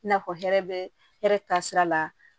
I n'a fɔ hɛrɛ bɛ hɛrɛ taasira la